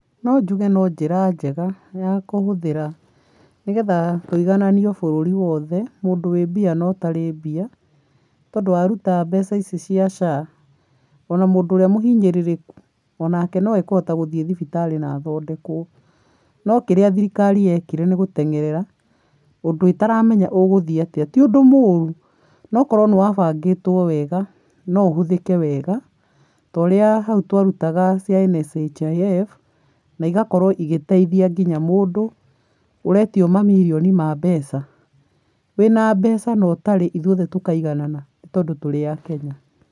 No njuge no njĩra njega ya kũhũthĩra, nĩgetha tũigananio bũrũri wothe, mũndũ wĩ mbia na ũtarĩ mbia, tondũ waruta mbeca ici cia SHA, ona mũndũ ũrĩa mũhinyĩrĩrĩku o nake no akũhota gũthiĩ thibitarĩ na athondekwo, no kĩrĩa thirikari yekire nĩ gũteng'erera ũndũ ĩtaramenya ũgũthiĩ atĩa, ti ũndũ moru no korwo nĩ wabangĩtwo wega, no ũhũthĩke wega, ta ũrĩa hau twarutaga cia NSHIF na igakorwo igĩteithia nginya mũndũ ũretio mamirioni ma mbeca, wĩna mbeca na ũtarĩ, ithuothe tũkaiganana, nĩ tondũ tũrĩ a kenya